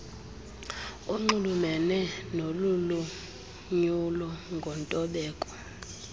onxulumene nolulonyulo ngontobeko